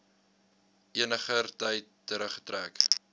eniger tyd teruggetrek